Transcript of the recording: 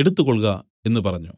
എടുത്തുകൊൾക എന്നു പറഞ്ഞു